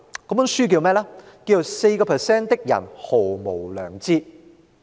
這本書就叫做《4% 的人毫無良知》。